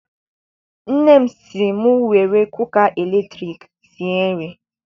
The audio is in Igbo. Nne m si m were kuka latriki sie nri.